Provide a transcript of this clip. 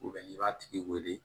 n'i b'a tigi wele